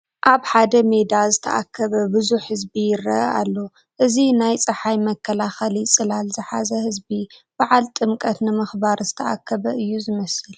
ኣብ ሓደ ሜዳ ዝተኣከበ ብዙሕ ህዝቢ ይርአ ኣሎ፡፡ እዚ ናይ ፀሓይ መከላኸሊ ፅላል ዝሓዘ ህዝቢ በዓለ ጥምቀት ንምኽባር ዝተኣከበ እዩ ዝመስል፡፡